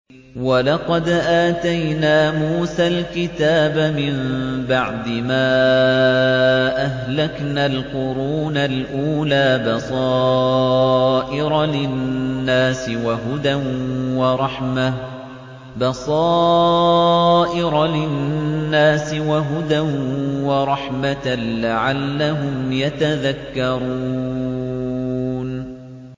وَلَقَدْ آتَيْنَا مُوسَى الْكِتَابَ مِن بَعْدِ مَا أَهْلَكْنَا الْقُرُونَ الْأُولَىٰ بَصَائِرَ لِلنَّاسِ وَهُدًى وَرَحْمَةً لَّعَلَّهُمْ يَتَذَكَّرُونَ